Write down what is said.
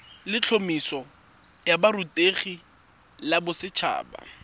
letlhomeso la borutegi la boset